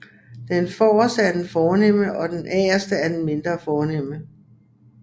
Den forreste er den fornemme og den agterste er mindre fornem